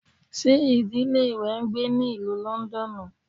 Ṣe idile rẹ n gbe ní Ìlú Lọndọnu?